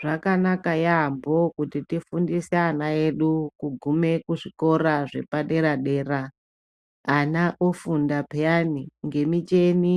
Zvakanaka yaambo kuti tifundise ana edu kudume kuzvikora zvepadera-dera. Ana ofunda peyani ngemicheni